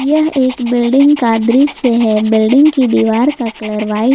यह एक बिल्डिंग का दृश्य है बिल्डिंग की दीवार का कलर वाइट --